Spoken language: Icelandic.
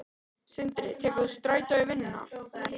Sindri: Tekur þú strætó í vinnuna?